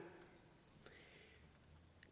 og